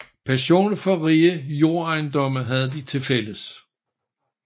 Passionen for rige jordejendomme havde de til fælles